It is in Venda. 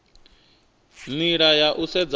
nila ya u sedza uri